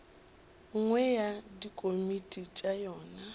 nngwe ya dikomiti tša yona